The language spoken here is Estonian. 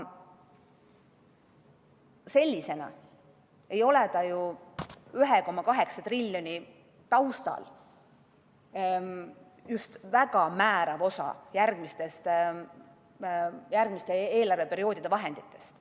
See ei ole ju 1,8 triljoni taustal just väga määrav osa järgmiste eelarveperioodide vahenditest.